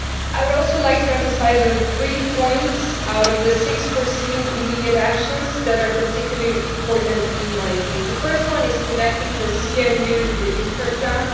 I would also like to emphasise three points, out of the six proposed immediate actions, that are particularly important in my view. The first is connecting the CMU with the Juncker plan.